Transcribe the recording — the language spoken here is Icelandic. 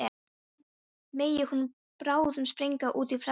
Megi hún bráðum springa út í frelsið.